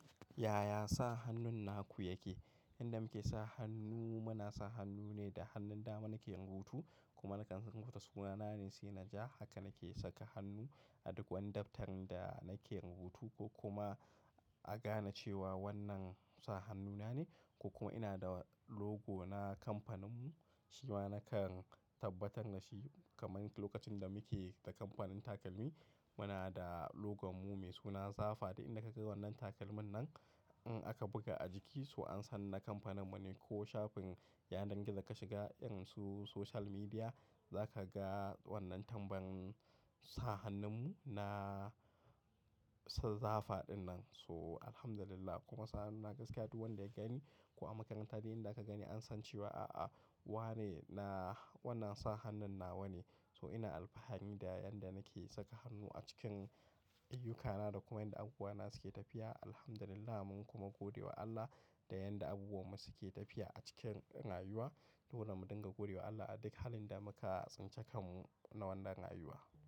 Yaya sa hannun naku yake? Inda muke sa hannu muna sa hannu ne da hannun da mana ke rubutu kuma nakan sanka ta suna na ne Sinah Ja haka nake saka hannu a duk wani daftarin da nake rubutu ko kuma a gane cewa wannan sa hannu na ne ko kuma ina da logo na kamfaninmu shi ma nakan tabbatar da shi kamar lokacin da muke da kamfanin takalmi muna da logo mu mai suna Zafa da inda ka ga wannan takalmin nan in aka buga a jiki su an san na kamfaninmu ne ko shafin yanar gizo ka shiga, irin su social media za ka ga wannan tamban sa hannunmu na zafa dinnan so Alhamdulillah kuma sa hannun na gaskiya duk wanda ya gani ko a makaranta dai inda aka gani an san cewa a'a wa ne na wannan sa hannun na wa ne. So ina alfahani da yan da nake saka hannu a cikin ayyukana da kuma inda abuwana suke tafiya Alhamdulillah mun kuma godiya wa Allah da yanda abubuwanmu suke tafiya a cikin rayuwa. Dole mu dinga godewa wa Allah a duk halin da muka tsinci kanmu na wannan rayuwa.